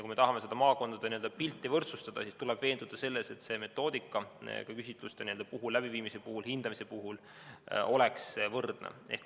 Kui me tahame seda maakondade pilti võrdsustada, siis tuleb veenduda selles, et metoodika küsitluste läbiviimisel ja hindamisel oleks võrdne.